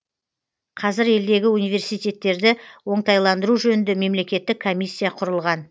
қазір елдегі университеттерді оңтайландыру жөнінде мемлекеттік комиссия құрылған